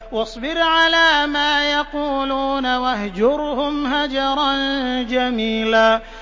وَاصْبِرْ عَلَىٰ مَا يَقُولُونَ وَاهْجُرْهُمْ هَجْرًا جَمِيلًا